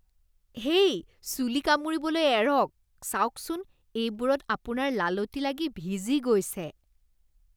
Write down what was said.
হেই! চুলি কামুৰিবলৈ এৰক। চাওকচোন, এইবোৰত আপোনাৰ লালটি লাগি ভিজি গৈছে।